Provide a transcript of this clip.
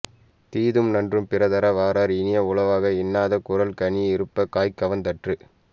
தீதும் நன்றும் பிறர்தர வாரா இனிய உளவாக இன்னாது கூறல்கனியிருப்பக் காய்கவர்ந் தற்று